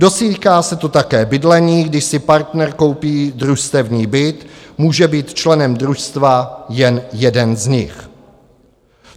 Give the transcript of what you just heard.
Dotýká se to také bydlení: když si partner koupí družstevní byt, může být členem družstva jen jeden z nich.